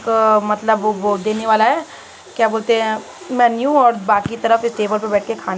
अ मतलब वो देने वाला है क्या बोलते है मेन्यू और बाकी तरफ इस टेबल पर बैठ के खाने --